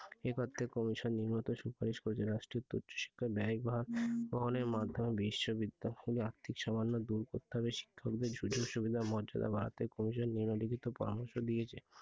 এর পর থেকে commission নিম্নোক্ত সুপারিশ করেছে রাষ্ট্রায়ত্ত উচ্চশিক্ষার ব্যয় বহনের মাধ্যমে বিশ্ববিদ্যালয়ের আর্থিক সমস্যা দূর করতে হবে। শিক্ষকদের সুযোগ-সুবিধা মর্যাদা বাড়াতে commission নিম্নলিখিত পরামর্শ দিয়েছে,